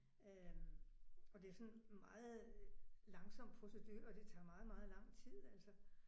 Øh og det er sådan meget langsom procedure og det tager meget meget lang tid altså